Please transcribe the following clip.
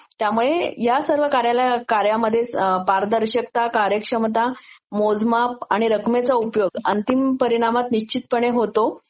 त्यंमुळे ह्या सर्व कार्यामध्येच पारदर्शकता, कार्यक्षमता, मोजमाप आणि रकमेचा उपयोग अंतिम परीणामात निछितपणे होतो